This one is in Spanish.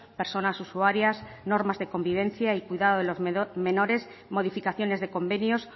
personas usuarias normas de convivencia y cuidados de los menores modificaciones de convenios